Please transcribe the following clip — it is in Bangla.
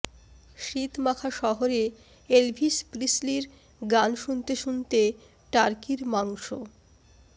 শীতমাখা শহরে এলভিস প্রিসলির গান শুনতে শুনতে টার্কির মাংস